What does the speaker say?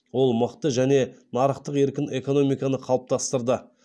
ол мықты және нарықтық еркін экономиканы қалыптастырды